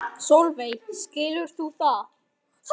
Sólveig: Skilur þú það?